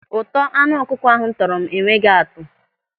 Ụtọ anụ ọkụkọ ahụ tọrọ m enweghị atụ.